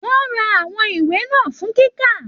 Wọn rà àwọn ìwé náà fún kíkà.